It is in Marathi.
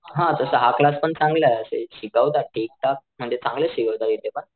हा तस हा क्लास पण चांगला असं शिकवतात ते म्हणजे चांगलंच शिकवतात इथे पण.